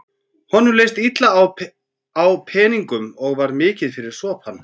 Honum hélst illa á peningum og var mikið fyrir sopann.